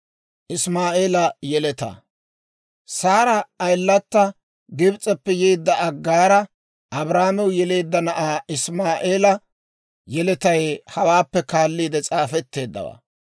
Saari ayilata, Gibs'eppe yeedda Aggaara, Abrahaamew yeleedda na'aa Isimaa'eela yeletay hawaappe kaalliide s'aafetteeddawaa.